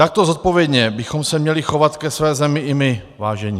Takto zodpovědně bychom se měli chovat ke své zemi i my, vážení.